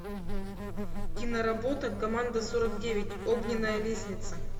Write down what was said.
киноработа команда сорок девять огненная лестница